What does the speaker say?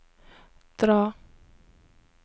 dra